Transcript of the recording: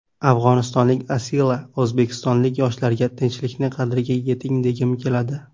Afg‘onistonlik Asila: O‘zbekistonlik yoshlarga tinchlikning qadriga yeting, degim keladi.